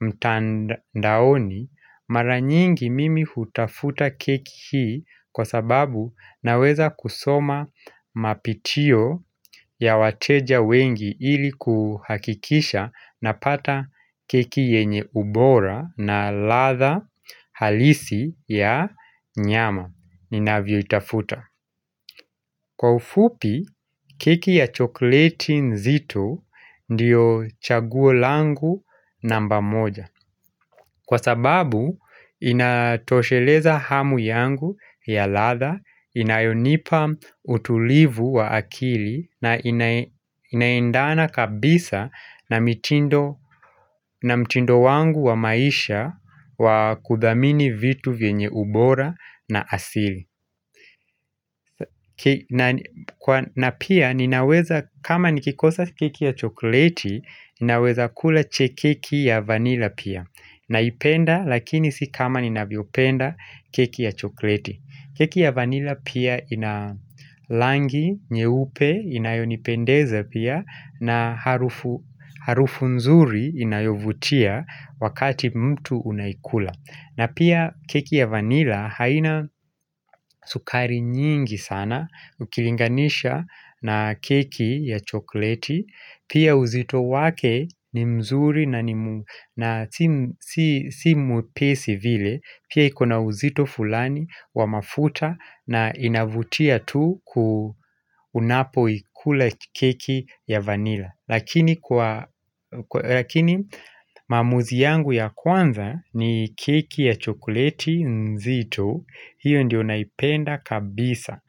mtandaoni mara nyingi mimi hutafuta keki hii kwa sababu naweza kusoma mapitio ya wateja wengi ili kuhakikisha napata keki yenye ubora na ladha halisi ya nyama. Ninavyoitafuta. Kwa ufupi, keki ya chokoleti nzito ndiyo chaguo langu namba moja Kwa sababu, inatosheleza hamu yangu ya ladha inayonipa utulivu wa akili na inaendana kabisa na mitindo na mtindo wangu wa maisha wa kudhamini vitu vyenye ubora na asili na pia ninaweza kama nikikosa keki ya chokoleti, ninaweza kula keki ya vanila pia. Naipenda lakini si kama ninavyopenda keki ya chokoleti. Keki ya vanila pia ina rangi nyeupe, inayonipendeza pia na harufu harufu nzuri inayovutia wakati mtu unaikula. Na pia keki ya vanila haina sukari nyingi sana ukilinganisha na keki ya chokoleti. Pia uzito wake ni mzuri na si mwepesi vile. Pia iko na uzito fulani wa mafuta na inavutia tu ku, unapoikula keki ya vanila, lakini kwa Lakini maamuzi yangu ya kwanza ni keki ya chokoleti nzito. Hiyo ndiyo naipenda kabisa.